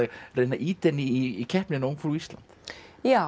reyna að ýta henni í keppnina ungfrú Ísland já